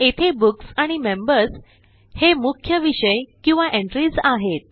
येथे बुक्स आणि मेंबर्स हे मुख्य विषय किंवा एंट्रीज आहेत